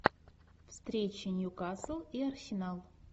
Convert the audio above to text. встреча ньюкасл и арсенал